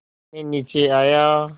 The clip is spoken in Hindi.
मैं नीचे आया